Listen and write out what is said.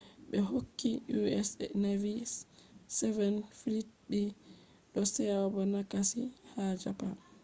be hokki u.s. navy`s seventh fleet be do seabo nagasaki ha japan